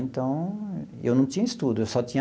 Então, eu não tinha estudo eu só tinha.